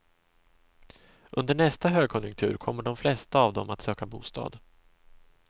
Under nästa högkonjunktur kommer de flesta av dem att söka bostad.